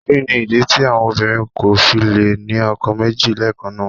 Kí ni ìdí tí àwọn obìnrin kò fi lè ní ọkọ méjì lẹ́ẹ̀kan náà?